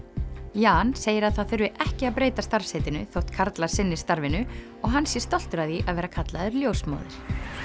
Jan segir að það þurfi ekki að breyta starfsheitinu þótt karlar sinni starfinu og hann sé stoltur af því að vera kallaður ljósmóðir